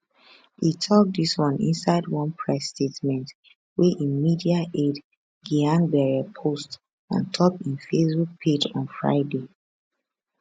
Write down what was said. e tok dis one inside one press statement wey im media aide gyang bere post ontop im facebook page on friday